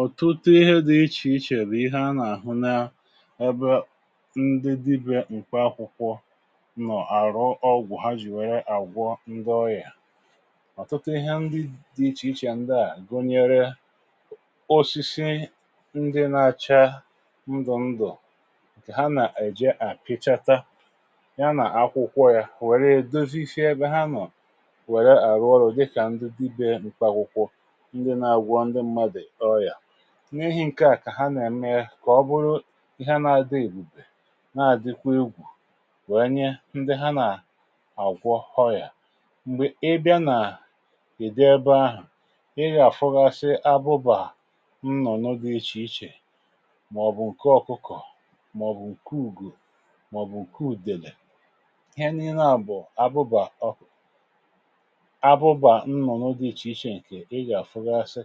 ọ̀tụte dị ichè ichè bụ̀ ihe a nà-àhụ na ebe ndị dibė ǹkè akwụkwọ nọ̀ àrụ ọgwụ̀ ha jìwère àgwọ ngọọyà. ọ̀tụtụ ihe ndị dị ichè ichè a gụnyere osisi ndị na-achaa ndụ̀ ndụ̀, ha nà-èje àpìchata ya nà akwụkwọ ya, wèrè dozizi sie ebe ha nọ, n’ihi ǹke à kà ha nà-ème kà ọ bụrụ ihe ha na-adị èbùbè na-àdịkwa egwù, wèe nye ndị ha nà-àgwọ ọyà. m̀gbè ị bịa nà ị̀dị ebe ahụ̀, ị gà-àfụgasi abụbà nnụ̀ n’oge ichè ichè màọ̀bụ̀ ǹke ọ̀kụkọ̀, màọ̀bụ̀ ǹke ùgwù, màọ̀bụ̀ ǹke ùdèrè. ihe niile à bụ̀ abụbà nnụ̀ n’oge ichè ichè ǹkè ị gà-àfụgasị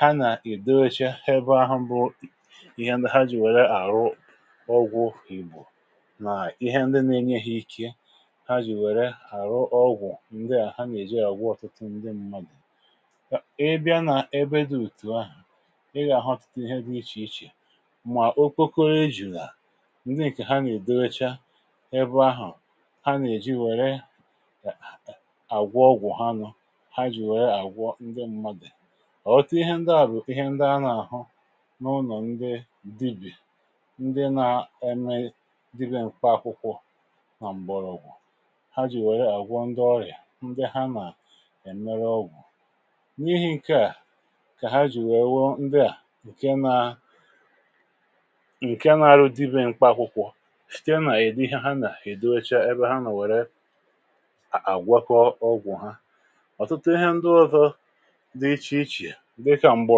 ha nà ị̀dowecha ebe ahụ̀ bụ ihe ndị ha jì wère àrụ ọgwụ ìgbò, nà ihe ndị na-enye ha ikė ha jì wère àrụ ọgwụ̀. ǹdịà ha nà-èji àgwọ ọ̀tụtụ ndị mmadị̀. ọ̀ e bịa nà ebe dị ùtù ahụ̀, ị gà-àhọ ọtụtụ ihe dị ichè ichè, mà okoko a jùrù à. ǹdịà kà ha nà-èdocha ebe ahụ̀, ha nà-èji wère àgwụ ọgwụ̀ ha nu. ọ̀tụ ihe ndị à bụ̀ ihe ndị a n’àhụ n’ụnọ̀ ndị dibì, ndị na-eme dibị̇ ǹkwà akwụkwọ̇ nà m̀gbọ̀rọ̀ ọgwụ̀ ha jì wèe àgwọ ndị ọrịà, ndị ha nà èmeruoogwụ̀. n’ihi̇ ǹke à kà ha jì wèe wuo ndị à ǹke na ǹke na-arụ dibị̇ ǹkpà akwụkwọ̇ shìe nà èdi ihe ha nà èdocha ebe ha nà wère àgwọkọ ọgwụ̀ ha. ǹdekarụ m̀gbọ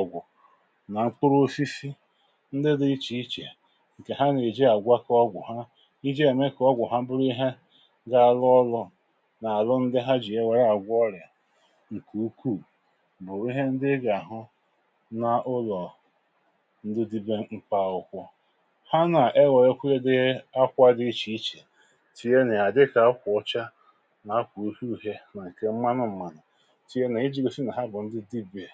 àgwụ nà mpuru osisi ndị dị̇ ichè ichè ǹkè ha nà-èji àgwakọ ọgwụ̀ ha iji̇ èmè kà ọgwụ̀ ha bụrụ ihe gȧ-ȧrụ̇ ọlụ̇ nà-àrụ ndị ha jì ya wère àgwọ ọrị̀à. ǹkè ukwuù màọ̀wụ, ihe ndị ị gà-àhụ nà ụlọ̀ ndị dibė m̀pàukwua, ha nà-egò ekweye dị akwa dị ichè ichè, tì ye nà-àdịkà akwụ ọcha nà akwụ ufuù, he mà ǹkè mmanụ m̀manụ̀ kà.